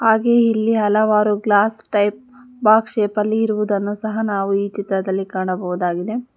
ಹಾಗೇ ಇಲ್ಲಿ ಹಲವಾರು ಗ್ಲಾಸ್ ಟೈಪ್ ಬಾಕ್ಸ್ ಶೇಪಲ್ಲಿ ಇರುವುದುದನ್ನು ಸಹ ನಾವು ಈ ಚಿತ್ರದಲ್ಲಿ ಕಾಣಬಹುದಾಗಿದೆ.